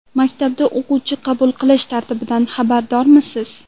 Maktabga o‘quvchi qabul qilish tartibidan xabardormisiz?.